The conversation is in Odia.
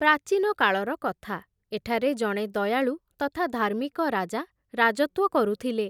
ପ୍ରାଚୀନ କାଳର କଥା, ଏଠାରେ ଜଣେ ଦୟାଳୁ ତଥା ଧାର୍ମିକ ରାଜା ରାଜତ୍ୱ କରୁଥିଲେ ।